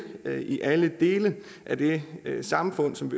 i alle dele af det samfund som